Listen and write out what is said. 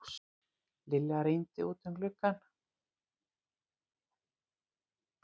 Lilla rýndi út um gluggann.